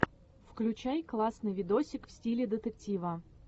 включай классный видосик в стиле детектива